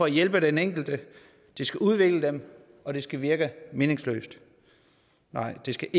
at hjælpe den enkelte det skal udvikle dem og det skal virke meningsløst nej det skal